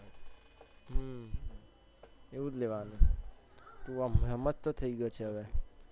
અમ એવુજ લેવાનું તું હવે હમજતો થઇ ગયો છે હવે